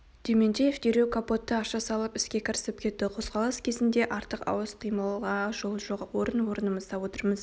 дементьев дереу капотты аша салып іске кірісіп кетті қозғалыс кезінде артық-ауыс қимылға жол жоқ орын-орнымызда отырмыз